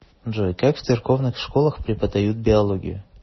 джой как в церковных школах преподают биологию